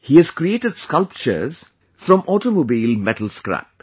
He has created sculptures from Automobile Metal Scrap